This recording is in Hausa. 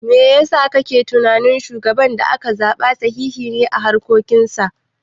Me yasa kake tunani shugaban da aka zaɓa sahihi ne a harkokin sa?